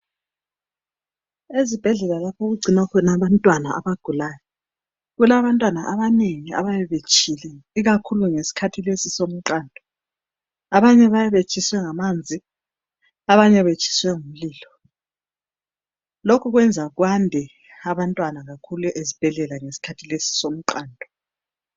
ezibhedlela lapho okugcinwa khona abantwana abagulayo kulabantwana abanengi abayabe betshile ikakhulu ngesikhathi lesi somqando abanye bayabe betshiswe ngamanzi abanye betshiswe ngumlilo lokhukwenzakwande abantwana kakhulu ezibhedlela ngesikhathi lesi somqando